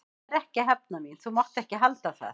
Ég er ekki að hefna mín, þú mátt ekki halda það.